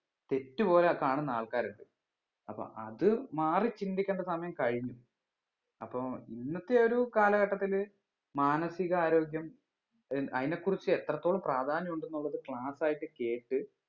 തെറ്റുപോലെ കാണുന്ന ആൾക്കാരുണ്ട് അപ്പൊ അത് മാറി ചിന്തിക്കേണ്ട സമയം കഴിഞ്ഞു അപ്പൊ ഇന്നത്തെ ഒരു കാലഘട്ടത്തില് മാനസിക ആരോഗ്യം ഏർ അതിനെ കുറിച്ച് എത്രത്തോളം പ്രാധാന്യം ഉണ്ടെന്നുള്ളത് class ആയിട്ട് കേക്ക്